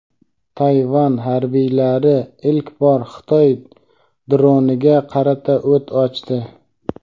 Tayvan harbiylari ilk bor Xitoy droniga qarata o‘t ochdi.